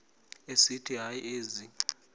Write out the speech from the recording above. esithi hayi ezi